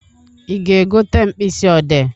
Ị ga-egote mkpisị ọdee?